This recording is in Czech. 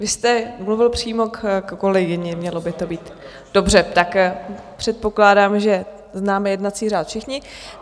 Vy jste mluvil přímo k kolegyni, mělo by to být - dobře, tak předpokládám, že známe jednací řád všichni.